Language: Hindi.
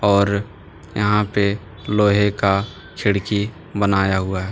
और यहां पे लोहे का खिड़की बनाया हुआ है।